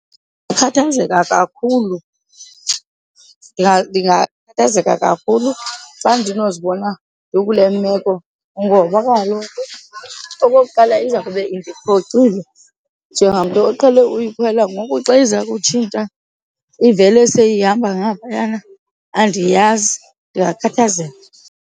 Ndingakhathazeka kakhulu, ndingakhathazeka kakhulu xa ndinozibona ndikule meko ngoba kaloku, okokuqala, iza kube indiphoxile njengamntu oqhele ukuyikhwela. Ngoku xa iza kutshintsha ivele seyihamba ngaphayana andiyazi, ndingakhathazeka.